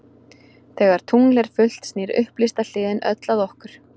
Þegar tungl er fullt snýr upplýsta hliðin öll að okkur.